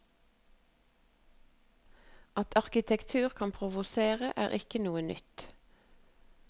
At arkitektur kan provosere, er ikke noe nytt.